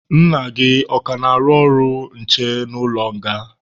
Nna gị ọ ka na-arụ ọrụ nche n'ụlọ nga?